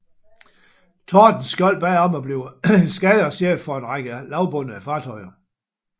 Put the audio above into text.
Tordenskjold bad om at blive eskadrechef for en række lavbundede fartøjer